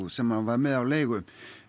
sem hann var með á leigu